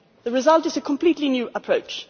The result is a completely new approach.